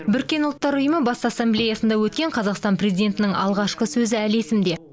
біріккен ұлттар ұйымы бас ассамблеясында өткен қазақстан президентінің алғашқы сөзі әлі есімде